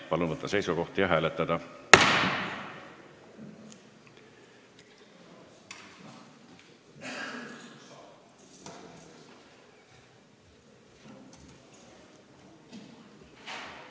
Palun võtta seisukoht ja hääletada!